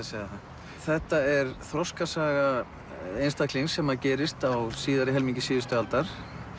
segja það þetta er þroskasaga einstaklings sem gerist á síðari helmingi síðustu aldar